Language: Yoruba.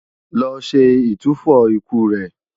Lọ ṣe ìtúfọ̀ ikú rẹ̀!